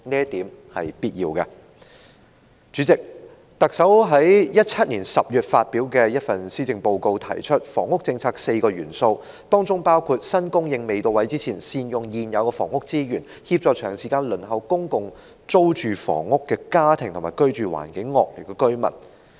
代理主席，特首在2018年10月發表的施政報告中提出房屋政策的4個元素，包括"在新供應未到位前，善用現有房屋資源，協助長時間輪候公共租住房屋的家庭和居住環境惡劣的居民"。